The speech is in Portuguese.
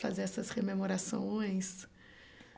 fazer essas rememorações.